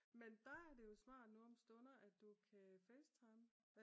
Men der er det jo smart nu om stundet at du kan facetime